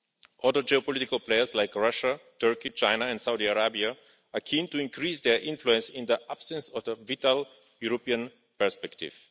Other geopolitical players like Russia, Turkey, China and Saudi Arabia are keen to increase their influence in the absence of a vital European perspective.